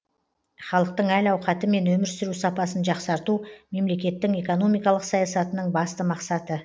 халықтың әл ауқаты мен өмір сүру сапасын жақсарту мемлекеттің экономикалық саясатының басты мақсаты